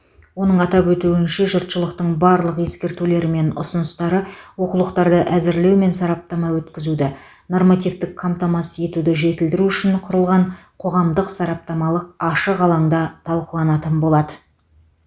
оның атап өтуінше жұртшылықтың барлық ескертулері мен ұсыныстары оқулықтарды әзірлеу мен сараптама өткізуді нормативтік қамтамасыз етуді жетілдіру үшін құрылған қоғамдық сараптамалық ашық алаңда талқыланатын болады